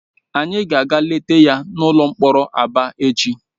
Anyị ga-aga leta ya n'ụlọ mkpọrọ Aba echi.